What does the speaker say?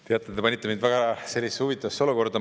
Teate, te panite mind sellisesse väga huvitavasse olukorda.